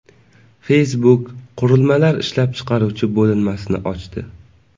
Facebook qurilmalar ishlab chiqaruvchi bo‘linmasini ochdi.